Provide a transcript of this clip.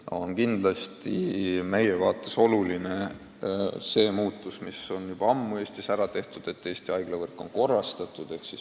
Meie seisukohalt on väga oluline see muutus, mis on Eestis juba ammu ära tehtud: Eesti haiglavõrk on korrastatud.